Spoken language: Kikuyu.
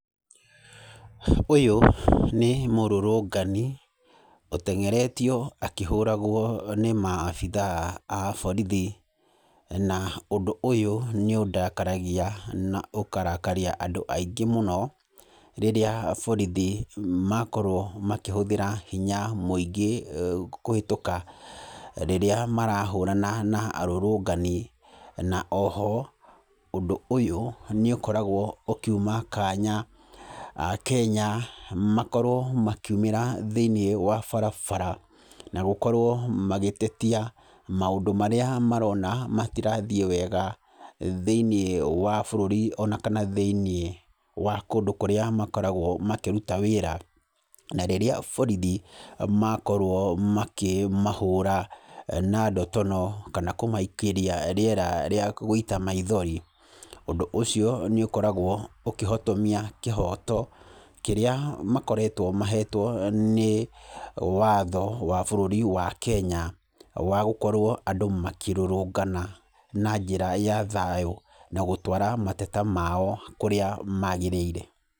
Ũyũ nĩ mũrũrũngani, ũteng'eretio akĩhũragwo nĩ maabitha a borithi. Na ũndũ ũyũ nĩ ũndakaragia na ũkarakaria andũ aingĩ mũno, rĩrĩa borithi makorwo makĩhũthĩra hinya mũingĩ kũhĩtũka rĩrĩa marahũrana na arũrũngani. Na oho, ũndũ ũyũ nĩ ũkoragwo ũkĩuma kanya Akenya makorwo makĩumĩra thĩiniĩ wa barabara, na gũkorwo magĩtetia maũndũ marĩa marona matirathiĩ wega thĩiniĩ wa bũrũri ona kana thĩiniĩ wa kũndũ kũrĩa makoragwo makĩruta wĩra. Na rĩrĩa borithi makorwo makĩmahũra, na ndotono kana kũmaikĩria rĩera rĩa gũita maithori, ũndũ ũcio nĩ ũkoragwo ũkĩhotomia kĩhooto, kĩrĩa makoretwo mahetwo nĩ watho wa bũrũri wa Kenya, wa gũkorwo andũ makĩrũrũngana na njĩra ya thayũ, na gũtwara mateta mao kũrĩa magĩrĩire.